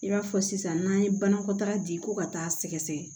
I b'a fɔ sisan n'an ye banakɔtaa di ko ka taa sɛgɛsɛgɛ